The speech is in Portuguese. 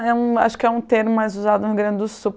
É um acho que é um termo mais usado no Rio Grande do Sul.